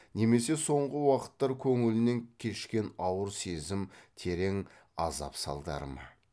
немесе соңғы уақыттар көңілінен кешкен ауыр сезім терең азап салдары ма